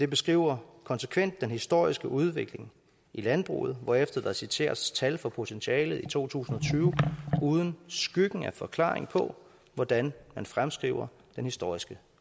beskriver konsekvent den historiske udvikling i landbruget hvorefter der citeres tal for potentialet i to tusind og tyve uden skyggen af forklaring på hvordan man fremskriver den historiske